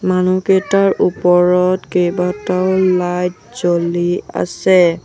মনুহকেইটাৰ ওপৰত কেইবাটাও লাইট জ্বলি আছে।